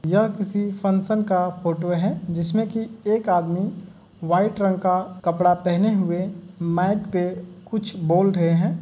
यह किसी फंक्शन का फोटो है जिसमें से एक आदमी व्हाइट कलर का कपड़ा पहने हुए माइक पे कुछ बोल रहे हैं।